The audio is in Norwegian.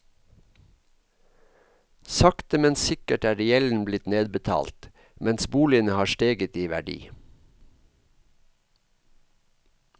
Sakte, men sikkert er gjelden blitt nedbetalt, mens boligen har steget i verdi.